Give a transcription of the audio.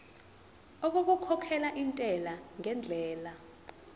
okukhokhela intela ngendlela